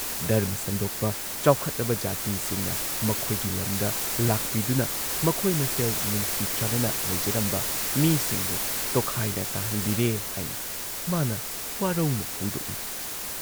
ꯙꯔꯃ ꯁꯟꯗꯣꯛꯄ ꯆꯥꯎꯈꯠꯂꯕ ꯖꯥꯇꯤꯁꯤꯡꯅ ꯃꯈꯣꯏꯒꯤ ꯂꯝꯗ ꯂꯥꯛꯄꯤꯗꯨꯅ ꯃꯈꯣꯏ ꯃꯁꯦꯜ ꯅꯨꯡꯁꯤ ꯆꯥꯟꯅꯅ ꯂꯩꯖꯔꯝꯕ ꯃꯤꯁꯤꯡꯕꯨ ꯇꯣꯈꯥꯏꯅ ꯇꯥꯍꯟꯕꯤꯔꯦ ꯍꯥꯏꯅ ꯃꯥꯅ ꯋꯥꯔꯧꯅ ꯐꯣꯡꯗꯣꯛꯏ